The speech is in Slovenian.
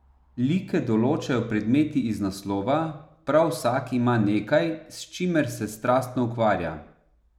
Like določajo predmeti iz naslova, prav vsak ima nekaj, s čimer se strastno ukvarja.